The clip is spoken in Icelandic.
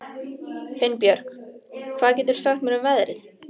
Finnbjörk, hvað geturðu sagt mér um veðrið?